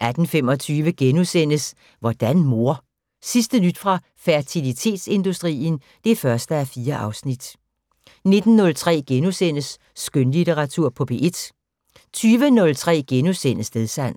18:25: Hvordan mor? Sidste nyt fra fertilitetsindustrien (1:4)* 19:03: Skønlitteratur på P1 * 20:03: Stedsans *